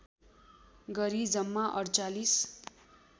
गरी जम्मा ४८